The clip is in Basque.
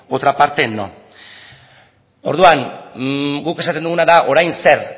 otra parte no orduan guk esaten duguna da orain zer